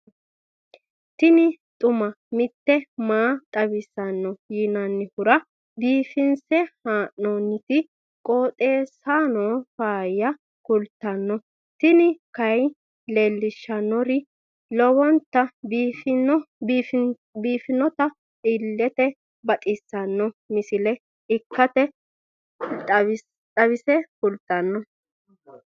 tini xuma mtini maa xawissanno yaannohura biifinse haa'noonniti qooxeessano faayya kultanno tini kayi leellishshannori lowonta biiffinota illete baxissanno misile ikkase xawisse kultanno.